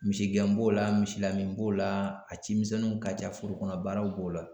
Misigɛn b'o la misilamin b'o la a cimisɛnninw ka ca foro kɔnɔ baaraw b'o la